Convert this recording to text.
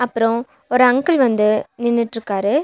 அப்றோ ஒரு அங்கிள் வந்து நின்னுட்ருக்காரு.